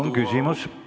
Palun küsimust!